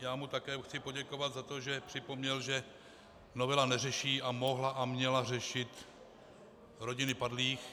Já mu také chci poděkovat za to, že připomněl, že novela neřeší a mohla a měla řešit rodiny padlých.